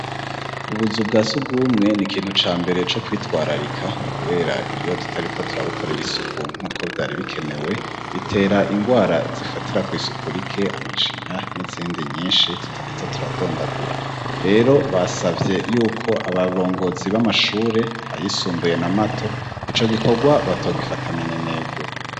ubuzu bwa sugumwe ni kintu ca mbere co kwitwararika kubera iyo tutariko turabukorera isuku nk'uko vyari bikenewe bitera ingwara zifatira kw' isuku rike amacinya n'izindi nyinshi tutarinza turadondagura rero basavye yuko abarongozi b'amashure ayisumbuye na mato ico gikorwa batogifata minenegwe